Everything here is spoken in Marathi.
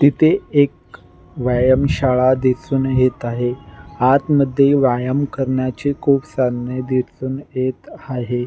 तिथे एक व्यायाम शाळा दिसून येत आहे आतमध्ये व्यायाम करण्याचे खूप साधने दिसून येत आहे.